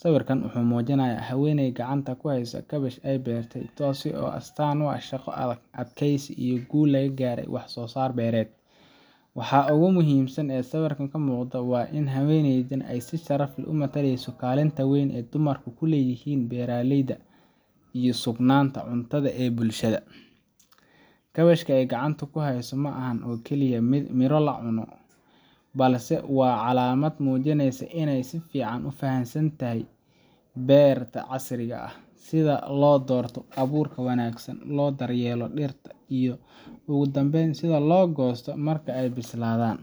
Sawirkan wuxuu muujinayaa haweeney gacanta ku haysa kaabash ay beertay, taas oo ah astaanta shaqo adag, adkeysi, iyo guul laga gaaray wax-soo-saar beereed. Waxa ugu muhiimsan ee sawirkan ka muuqda waa in haweeneydani ay si sharaf leh u mataleyso kaalinta weyn ee dumarku ku leeyihiin beeralayda iyo sugnaanta cuntada ee bulshada. Kaabashka ay gacanta ku hayso ma ahan oo kaliya midho cunto ah, balse waa calaamad muujinaysa in ay si fiican u fahansantay beeralayda casriga ah: sida loo doorto abuurka wanaagsan, loo daryeelo dhirta, iyo ugu dambayn sida loo goosto marka ay bislaadaan.